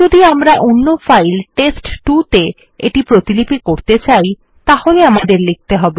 যদি আমরা অন্য ফাইল টেস্ট2 ত়ে এটি প্রতিলিপি করতে চাই তাহলে আমাদের লিখতে হবে